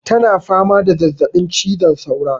Ta na fama da zazzaɓin cizon saura